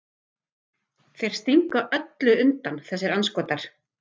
Þeir stinga undan öllum þessir andskotar!